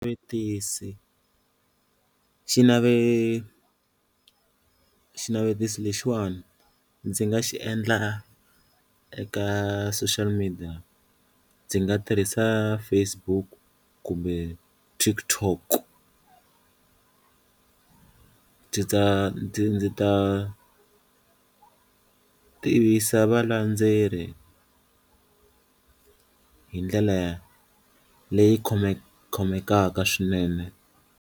xinavetiso lexiwani ndzi nga xi endla eka social media ndzi nga tirhisa Facebook kumbe TikTok ndzi ta ndzi ndzi ta tivisa valandzeri hi ndlela leyi khomekaka swinene.